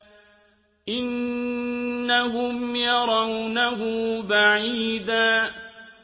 إِنَّهُمْ يَرَوْنَهُ بَعِيدًا